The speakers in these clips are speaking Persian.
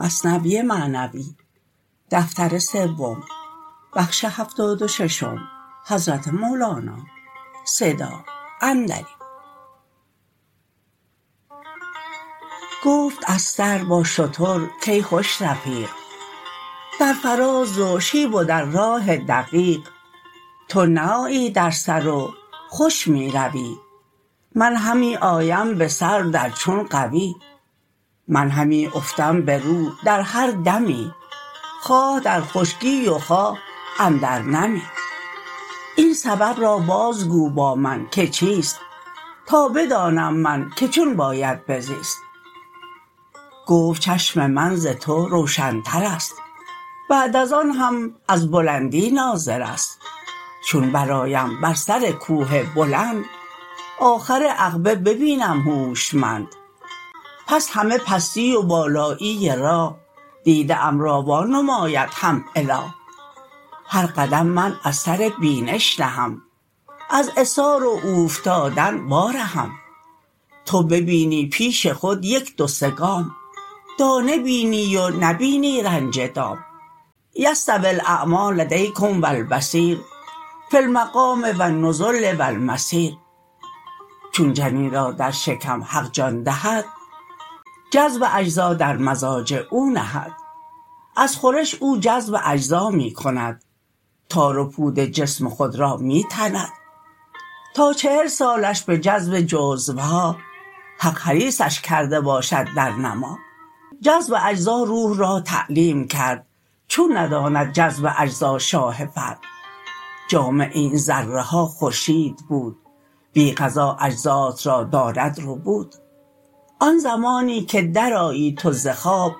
گفت استر با شتر کای خوش رفیق در فراز و شیب و در راه دقیق تو نه آیی در سر و خوش می روی من همی آیم بسر در چون غوی من همی افتم به رو در هر دمی خواه در خشکی و خواه اندر نمی این سبب را باز گو با من که چیست تا بدانم من که چون باید بزیست گفت چشم من ز تو روشن ترست بعد از آن هم از بلندی ناظرست چون برآیم بر سرکوه بلند آخر عقبه ببینم هوشمند پس همه پستی و بالایی راه دیده ام را وا نماید هم اله هر قدم من از سر بینش نهم از عثار و اوفتادن وا رهم تو ببینی پیش خود یک دو سه گام دانه بینی و نبینی رنج دام یستوی الاعمی لدیکم و البصیر فی المقام و النزول و المسیر چون جنین را در شکم حق جان دهد جذب اجزا در مزاج او نهد از خورش او جذب اجزا می کند تار و پود جسم خود را می تند تا چهل سالش به جذب جزوها حق حریصش کرده باشد در نما جذب اجزا روح را تعلیم کرد چون نداند جذب اجزا شاه فرد جامع این ذره ها خورشید بود بی غذا اجزات را داند ربود آن زمانی که در آیی تو ز خواب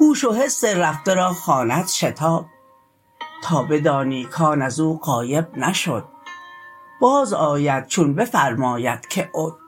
هوش و حس رفته را خواند شتاب تا بدانی کان ازو غایب نشد باز آید چون بفرماید که عد